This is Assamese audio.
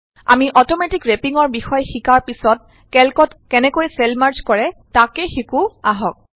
আমি অট ৰেপিং ৰ বিষয়ে শিকাৰ পিছত কেল্কত কেনেকৈ চেল মাৰ্জ কৰে তাক শিকো আহক